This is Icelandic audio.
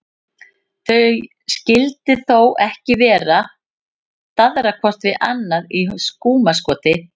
Þau skyldu þó ekki vera að daðra hvort við annað í skúmaskoti?